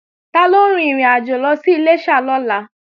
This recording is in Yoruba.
Tọ́lá ń rin ìrìnàjò lọ sí Iléṣà lọ́la